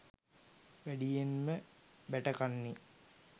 වැඩියෙන්ම බැටකන්නේ